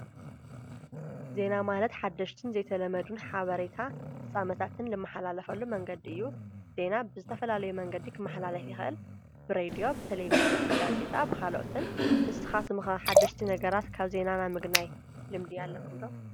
ዜና ማለት ሓደሽትን ዝተለመዱን ሓበሬታ ፍጻመታትን ልመሓላለፈሉ መንገዲ እዩ፡፡ ዜና ብዝተፈላለዩ መንገዲ ኽመሕላለፍ ይኽእል፡፡ ብሬድዮ ፣ ብተሌቪዥን ፣ብጋዜጣ ብኻልኦትን ንስኻትኩም ሓደሽቲ ነገራት ካብ ዜና ምግናይ ልምዲ ኣለኹም ዶ?